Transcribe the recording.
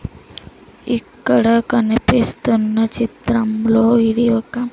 ఇక్కడ కనిపిస్తున్న చిత్రం లో ఇది ఒక--